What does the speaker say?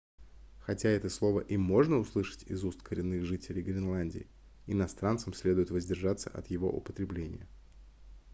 хотя это слово и можно услышать из уст коренных жителей гренландии иностранцам следует воздержаться от его употребления